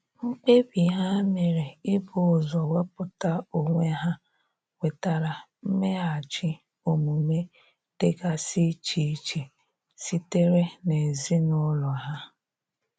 Mkpebi ha mere ibu ụzọ wepụta onwe ha nwetara mmeghachi omume dịgasi iche iche sitere n'ezinụlọ ha.